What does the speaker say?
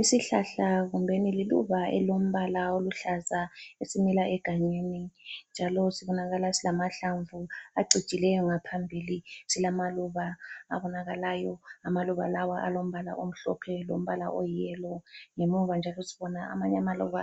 Isihlahla kumbeni liluba elilombala oluhlaza esimila egangeni njalo sibonakala silamahlamvu acijileyo ngaphambili silamaluba abonakalayo amaluba lawa alombala omhlophe lombala oyiyelo ngemuva njalo sibona amanye amaluba